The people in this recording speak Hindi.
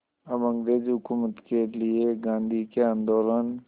अब अंग्रेज़ हुकूमत के लिए गांधी के आंदोलन